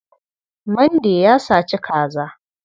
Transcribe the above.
Mande ya saci kaza.